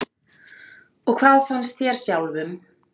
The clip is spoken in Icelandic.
Og hvað fannst þér sjálfum?